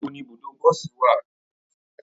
Níbo ni ibùdó bọsí wa?